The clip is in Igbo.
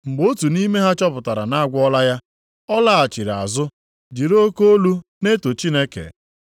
Mgbe otu nʼime ha chọpụtara na a gwọọla ya, ọ laghachiri azụ, jiri oke olu na-eto Chineke.